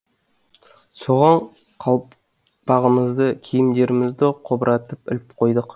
соған қалпағымызды киімдерімізді қобыратып іліп қойдық